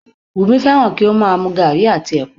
Wùmí fẹ́ràn kí ó má a mu gaàrí àti ẹ̀pà